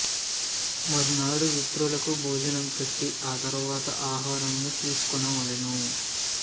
మర్నాడు విప్రులకు భోజనం పెట్టి ఆ తరువాత ఆహారమును తీసుకోవలెను